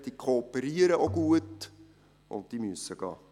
Sie kooperieren auch gut, aber sie müssen gehen.